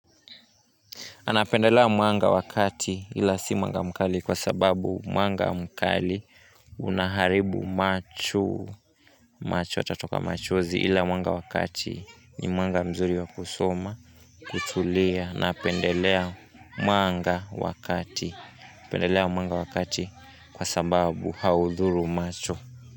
Napendelea mwanga wakati ila si mwanga mkali kwa sababu mwanga mkali Unaharibu macho, macho yatatoka macho zi ila mwanga wakati ni mwanga mzuri wa kusoma, kutulia napendelea mwanga wa kati, napendelea mwanga wakati kwa sababu haudhuru macho.